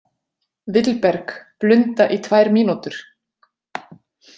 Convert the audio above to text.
Vilberg, blunda í tvær mínútur.